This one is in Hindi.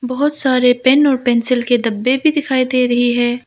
बहोत सारे पेन और पेंसिल के डब्बे भी दिखाई दे रहे हैं।